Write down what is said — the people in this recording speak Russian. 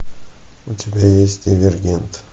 у тебя есть дивергент